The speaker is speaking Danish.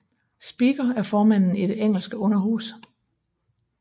Speaker er formanden i det engelske underhus